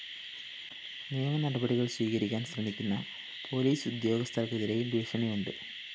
നിയമനടപടികള്‍ സ്വീകരിക്കാന്‍ ശ്രമിക്കുന്ന പോലീസ് ഉദ്യോഗസ്ഥര്‍ക്കെതിരെയും ഭീഷണിയുണ്ട്